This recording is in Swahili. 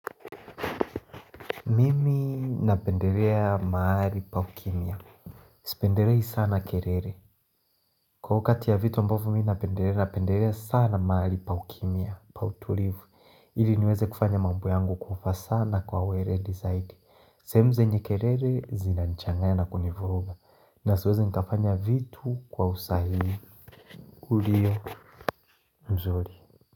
Mimi napendelea mahali pa kimia. Sipendelei sana kerere. Kwa hiyokati ya vitu ambavyo mi napendelea napendelea sana mahali pa kimya, pa tulivu. Ili niweze kufanya mambo yangu kwaufa sana kwa wele zaidi. Sehemu zenye kelele zinanchangaya na kunivuruga. Nasiweze nkafanya vitu kwa usahihi. Ulio mzuri.